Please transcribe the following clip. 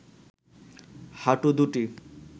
হাঁটু দুটি